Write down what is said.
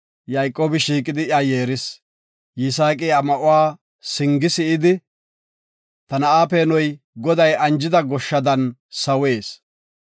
Yayqoobi shiiqidi iya yeeris. Yisaaqi iya ma77uwa singi si7idi, “Ta na7a peenoy Goday anjida goshshada sawees.